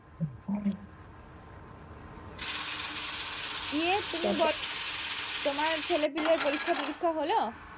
দিয়ে তুমি বলো তোমার ছেলেপিলের পরীক্ষাটরীক্ষা হল